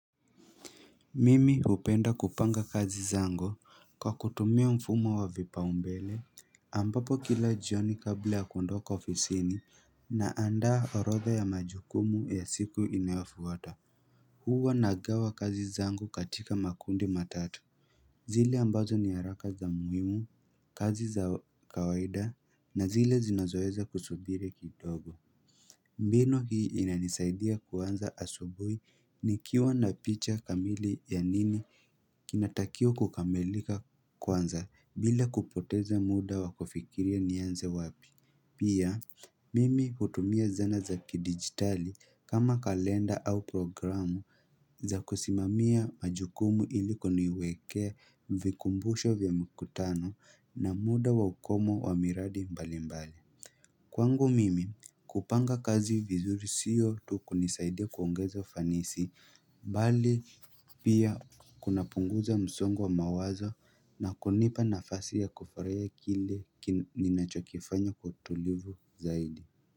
Mimi hupenda kupanga kazi zangu kwa kutumia mfumo wa vipaumbele Ampapo kila jioni kabla ya kundoka ofisini Naandaa orodha ya majukumu ya siku inayofwata Huwa nagawa kazi zangu katika makundi matatu zile ambazo ni haraka za muhimu kazi za kawaida na zile zinazoweza kusubiri kidogo mbinu hii inanisaidia kuanza asubuhi nikiwa na picha kamili ya nini kinatakiwa kukamilika kwanza bila kupoteza muda wa kufikiria nianze wapi. Pia, mimi hutumia zana za kidigitali kama kalenda au programu za kusimamia majukumu ili kuniwekea vikumbusho vya mkutano na muda wa ukomo wa miradi mbali mbali. Kwangu mimi kupanga kazi vizuri siyo tu kunisaidia kuongeza ufanisi bali pia kunapunguza msongo wa mawazo na kunipa nafasi ya kufurahia kile ninachokifanya kwa utulivu zaidi.